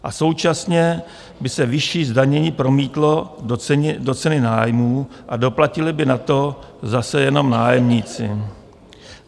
A současně by se vyšší zdanění promítlo do ceny nájmů a doplatili by na to zase jenom nájemníci.